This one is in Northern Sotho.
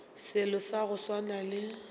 selo sa go swana le